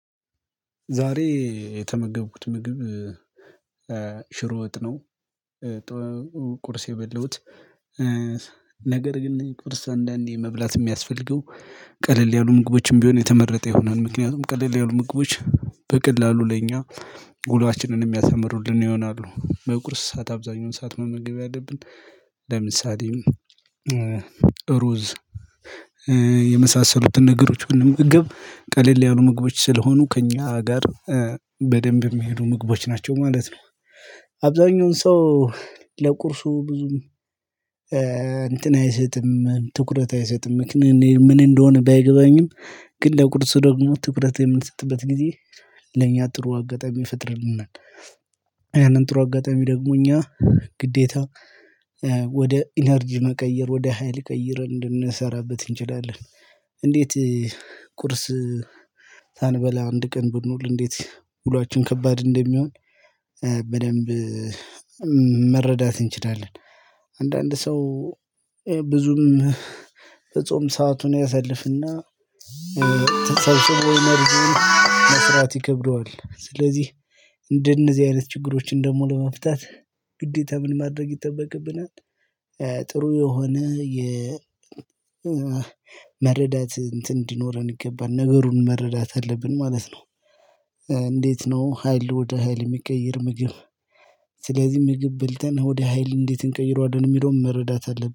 ዛሬ የተመገብኩት ምግብ ሽሮ ወጥ ነው። ቁርሴ የበላውት ነገር ግን ቁርስ አንዳንዴ መብላት የሚያስፈልገው ቀለል ያሉ ምግቦችም ቢሆን የተመረጠ ይሆናል ምክንያቱም ቀለል ያሉ ምግቦች በቀላሉ ለኛ ዉሏችንን የሚያሳምሩልን ይሆናሉ በቁርስ ሰዓት አብዛኛውን ሰዓት መመገብ ያለብን ለምሳሌ ሩዝ የመሳሰሉትን ነገሮች ብንመገብ ቀለል ያሉ ምግቦች ስለሆኑ ከእኛ ጋር በደንብ የሚሄዱ ምግቦች ናቸው ማለት ነው። አብዛኛውን ሰው ለቁርሱ ብዙም እንትን አይሰጥም ትኩረት አይሰጥም ምክንያ ምን እንደሆነ ባይገባኝም ግን ለቁርስ ደግሞ ትኩረት የምንሰጥበት ጊዜ ለኛ ጥሩ አጋጣሚ ይፈጥርልንናል ያንን ጥሩ አጋጣሚ ደግሞ እኛ ግዴታ ወደ ኢነርጂ መቀየር ወደ ሀይል ቀይረን እንድንሰራበት እንችላለን። እንዴት ቁርስ ሳንበላ አንድ ቀን ብንውል እንዴት ዉሏችን ከባድ እንደሚሆን በደንብ መረዳት እንችላለን። አንዳንድ ሰው ብዙም በጾም ሰአቱን ያሳልፍና ተሰብስቦ መብልን መስራት ይከብደዋል። ስለዚህ እንደነዚህ አይነት ችግሮችን ደግሞ ለመፍታት ግዴታ ምን ማድረግ ይጠበቅብናል? ጥሩ የሆነ የ መረዳት እንትን እንዲኖረን ይገባል ነገሩን መረዳት አለብን ማለት ነው። ነው ሀይል ወደ ሀይል የሚቀይር ምግብ ስለዚህ ምግብ በልተን ወደ ሀይል እንዴት እንቀይረዋለን የሚለውን መረዳት አለብን